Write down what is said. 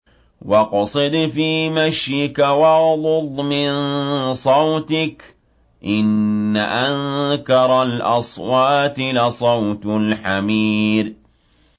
وَاقْصِدْ فِي مَشْيِكَ وَاغْضُضْ مِن صَوْتِكَ ۚ إِنَّ أَنكَرَ الْأَصْوَاتِ لَصَوْتُ الْحَمِيرِ